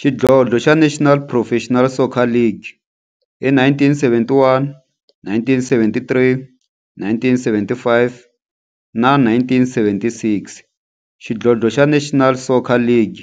Xidlodlo xa National Professional Soccer League hi 1971, 1973, 1975 na 1976, xidlodlo xa National Soccer League